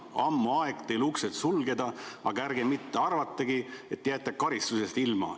Ammu aeg uksed sulgeda, ärge mitte arvakegi, et jääte karistusest ilma.